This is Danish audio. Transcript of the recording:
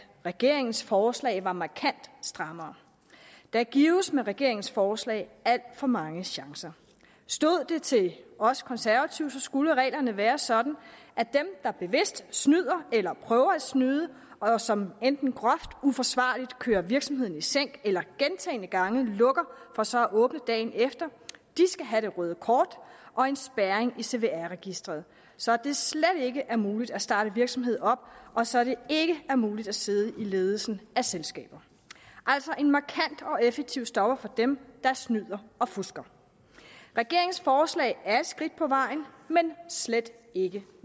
regeringens forslag var markant strammere der gives med regeringens forslag alt for mange chancer stod det til os konservative skulle reglerne være sådan at dem der bevidst snyder eller prøver at snyde og som enten groft uforsvarligt kører virksomheden i sænk eller gentagne gange lukker for så at åbne igen dagen efter skal have det røde kort og en spærring i cvr registeret så det slet ikke er muligt at starte en virksomhed op og så det ikke er muligt at sidde i ledelsen af selskaber altså en markant og effektiv stopper for dem der snyder og fusker regeringens forslag er et skridt på vejen men slet ikke